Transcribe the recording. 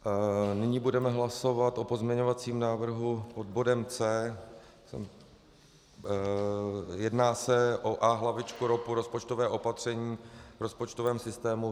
Nyní budeme hlasovat o pozměňovacím návrhu pod bodem C. Jedná se o A-hlavičku ROPu, rozpočtové opatření v rozpočtovém systému.